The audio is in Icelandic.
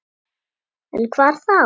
En hvar þá?